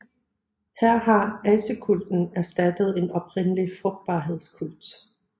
Her har asekulten erstattet en oprindelig frugtbarhedskult